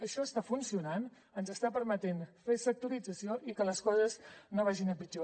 això està funcionant ens està permetent fer sectorització i que les coses no vagin a pitjor